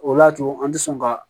O y'a to an tɛ sɔn ka